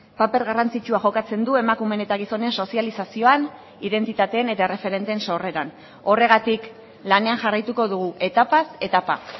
paper garrantzitsua jokatzen du emakumeen eta gizonen sozializazioan identitateen eta erreferenteen sorreran horregatik lanean jarraituko dugu etapaz etapa